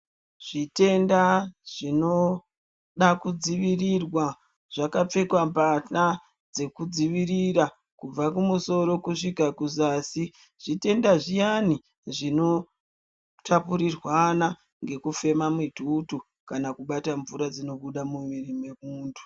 Zvitenda zvinoda kudziwirirwa zvakapfekwa mbahla dzekudziwirira kubva ku musoro kusvika kuzasi zvitenda zviyani zvinotapurirwana ngekufema mitutu kana kubata mvura dzinobuda mumwiri mwemuntu.